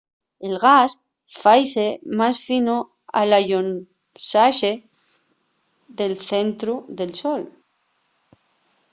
el gas faise más fino al allonxase del centru del sol